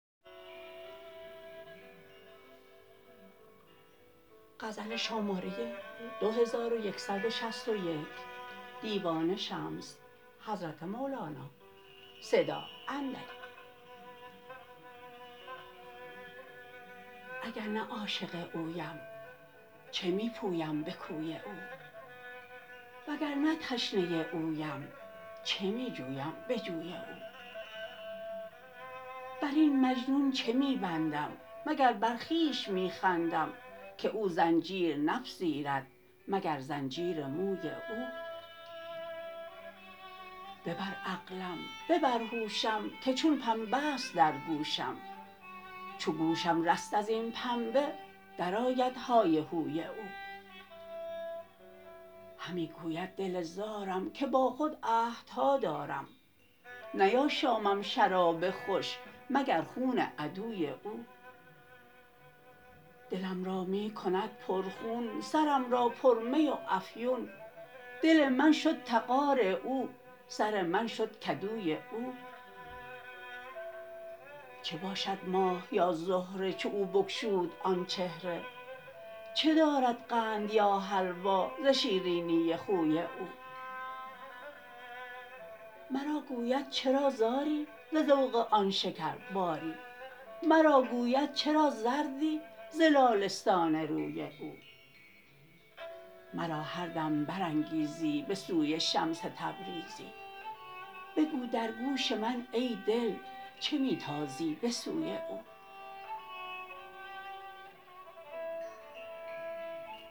اگر نه عاشق اویم چه می پویم به کوی او وگر نه تشنه اویم چه می جویم به جوی او بر این مجنون چه می بندم مگر بر خویش می خندم که او زنجیر نپذیرد مگر زنجیر موی او ببر عقلم ببر هوشم که چون پنبه ست در گوشم چو گوشم رست از این پنبه درآید های هوی او همی گوید دل زارم که با خود عهدها دارم نیاشامم شراب خوش مگر خون عدوی او دلم را می کند پرخون سرم را پرمی و افیون دل من شد تغار او سر من شد کدوی او چه باشد ماه یا زهره چو او بگشود آن چهره چه دارد قند یا حلوا ز شیرینی خوی او مرا گوید چرا زاری ز ذوق آن شکرباری مرا گوید چرا زردی ز لاله ستان روی او مرا هر دم برانگیزی به سوی شمس تبریزی بگو در گوش من ای دل چه می تازی به سوی او